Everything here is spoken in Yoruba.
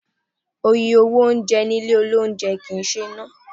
Iye owó oúnjẹ ní ilé oúnjẹ kì ń ṣe ná.